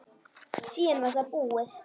Síðan var það búið.